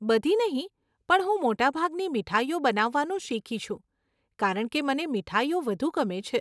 બધી નહીં, પણ હું મોટાભાગની મીઠાઈઓ બનાવવાનું શીખી છું, કારણ કે મને મીઠાઈઓ વધુ ગમે છે.